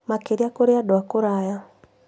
Makĩria kũrĩ andũ a kũraya.